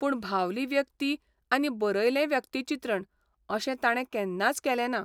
पूण भावली व्यक्ती आनी बरयलें व्यक्तिचित्रण अशें ताणे केन्नाच केलें ना.